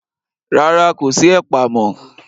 Rárá, kò sí ẹ̀pà mọ́.